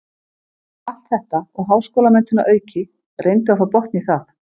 Allt þetta og háskólamenntun að auki, reyndu að fá botn í það.